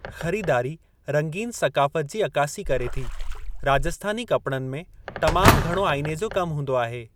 ख़रीदारी रंगीनु सक़ाफ़त जी अकासी करे थी, राजस्थानी कपड़नि में तमामु घणो आइने जो कम हूंदो आहे।